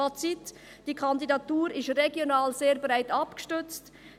Fazit: Die Kandidatur ist regional sehr breit abgestützt.